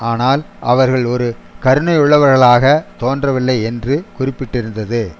ஆனால் அவர்கள் ஒரு கருணையுள்ளவர்களாக தோன்றவில்லை என்று குறிப்பிட்டிருந்தது